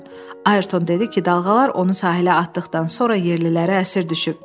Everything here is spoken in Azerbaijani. Ayrton dedi ki, dalğalar onu sahilə atdıqdan sonra yerlilərə əsir düşüb.